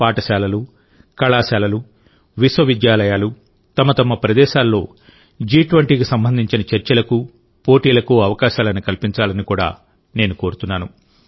పాఠశాలలు కళాశాలలు విశ్వవిద్యాలయాలు తమ తమ ప్రదేశాల్లో జి20కి సంబంధించిన చర్చలకు పోటీలకు అవకాశాలను కల్పించాలని కూడా నేను కోరుతున్నాను